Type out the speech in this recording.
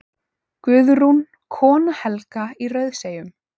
Guðrún, kona Helga í Rauðseyjum.